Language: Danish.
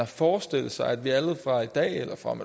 forestiller sig at vi alle fra i dag eller fra om